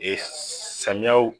Ee samiyaw